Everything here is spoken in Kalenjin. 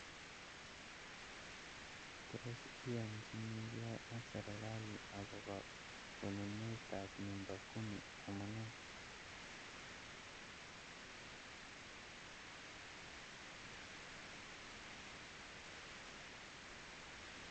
Tos iyanchinikee ak serikalit akobo konunetab nyumba kimi amunee